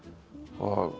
og